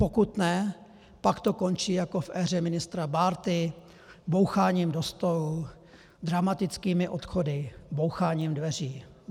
Pokud ne, pak to končí jako v éře ministra Bárty boucháním do stolu, dramatickými odchody, boucháním dveří.